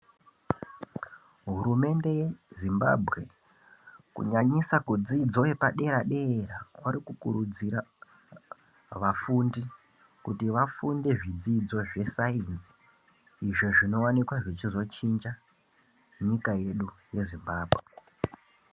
Hurumende yezimbambwe kunyanyisa kudzidzo yepadera-dera. Vari kukurudzira vafundi kuti vafunde zvidzidzo zvesainzi, izvo zvinovanikwa zvichizochinja nyika yedu yezimbambwe.